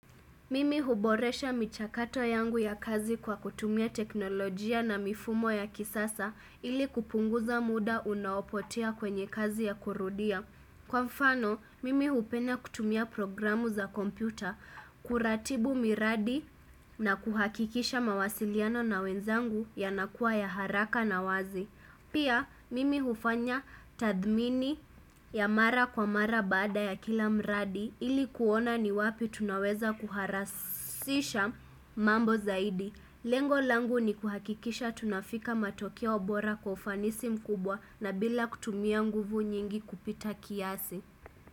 Mimi huboresha michakato yangu ya kazi kwa kutumia teknolojia na mifumo ya kisasa ili kupunguza muda unaopotea kwenye kazi ya kurudia. Kwa mfano, mimi hupena kutumia programu za kompyuta, kuratibu miradi na kuhakikisha mawasiliano na wenzangu yanakua ya haraka na wazi. Pia mimi hufanya tathmini ya mara kwa mara bada ya kila mradi ili kuona ni wapi tunaweza kuharasisha mambo zaidi. Lengo langu ni kuhakikisha tunafika matokeo bora kwa ufanisi mkubwa na bila kutumia nguvu nyingi kupita kiasi.